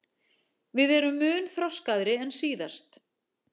Við erum mun þroskaðri en síðast